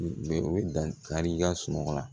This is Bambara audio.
U bɛ dankari i ka sunɔgɔ la